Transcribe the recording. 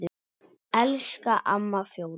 Elsku amma Fjóla.